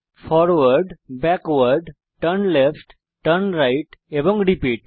forward backward turn left turn right এবং repeat